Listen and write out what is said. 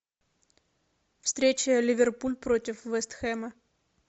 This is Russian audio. встреча ливерпуль против вест хэма